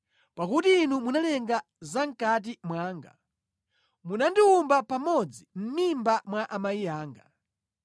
Pakuti Inu munalenga za mʼkati mwanga; munandiwumba pamodzi mʼmimba mwa amayi anga.